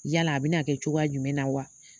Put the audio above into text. Yala a bɛna kɛ cogoya jumɛn na wa?